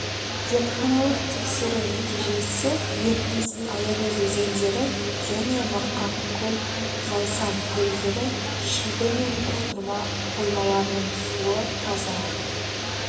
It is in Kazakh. зертханалық тексеру нәтижесі ертіс аягөз өзендері және марқакөл зайсан көлдері шүлбі мен бұқтырма қоймаларының суы таза